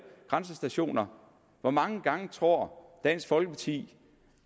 grænsestationer hvor mange gange tror dansk folkeparti